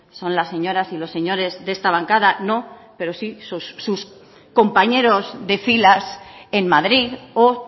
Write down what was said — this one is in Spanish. son las señoras y los señores de esta bancada no pero sí sus compañeros de filas en madrid o